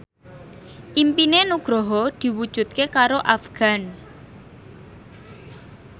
impine Nugroho diwujudke karo Afgan